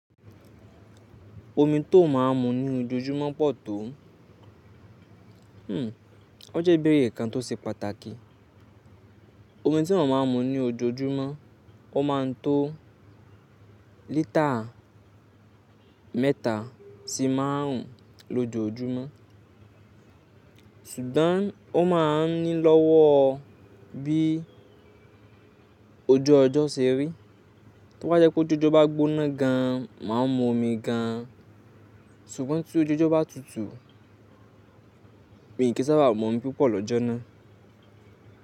Omi tó máa ń mu ní ojoojúmọ́ pọ̀ tó, o jẹ́ bí hun kan tó ṣe pàtàkì. Omi tí mo máa ń mu ní ojoojúmọ́, ó máa ń tó lítà mẹ́ta sí márùn ún lójoojúmọ́. Ṣùgbọ́n ó ma ń ní lọ́wọ́ bí ojú ọjọ́ ṣe rí. Bí ó jẹ́ pé ojú ọjọ́ bá gbóná gan, màá mu omi gan. Ṣùgbọ́n tí ojú ọjọ́ bá tutù, mi kì í sábà mu omi púpọ̀ lọ́jọ́ náà.